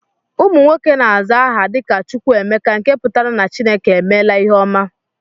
Ụmụ nwoke na-aza aha dị ka "Chukwuemeka" nke pụtara na Chineke emela ihe ọma